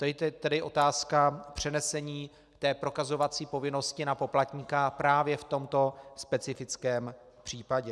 To je tedy otázka přenesení té prokazovací povinnosti na poplatníka právě v tomto specifickém případě.